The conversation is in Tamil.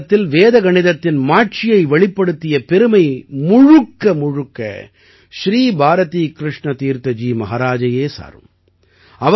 நவீன காலத்தில் வேத கணிதத்தின் மாட்சியை வெளிப்படுத்திய பெருமை முழுக்க ஸ்ரீ பாரதீ கிருஷ்ண தீர்த்த ஜி மஹாராஜையே சாரும்